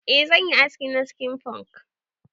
Eh zanyi haski na skin punk.